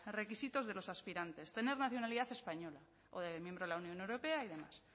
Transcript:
requisitos de los aspirantes tener nacionalidad española o de miembro de la unión europea y demás